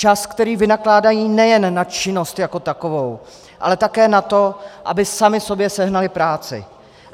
Čas, který vynakládají nejen na činnost jako takovou, ale také na to, aby sami sobě sehnali práci.